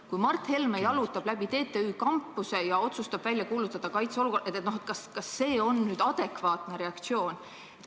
Kui Mart Helme jalutab läbi TTÜ kampuse ja otsustab kuulutada välja kaitseolukorra, kas see on adekvaatne reaktsioon?